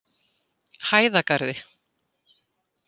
Hæðagarði